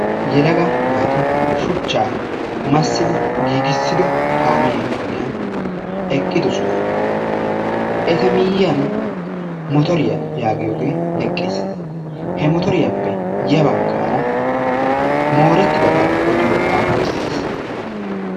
Yelaga naati shuchchaa massidi giigisido kaammiya ogiyan, eqqidosona. eta miyiyan motoriya yaagoiyoge eqqis. he motoriyappe ha bagaara morettidabaa oliyo aafoy eqqis.